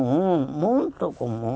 Muito comum, muito comum.